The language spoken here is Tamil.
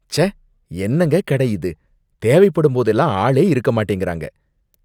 ச்சே! என்னங்க கடை இது? தேவைப்படும்போதெல்லாம் ஆளே இருக்கமாட்டேங்கறாங்க.